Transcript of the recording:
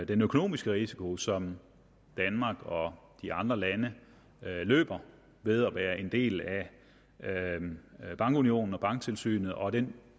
den økonomiske risiko som danmark og de andre lande løber ved at være en del af bankunionen og banktilsynet og den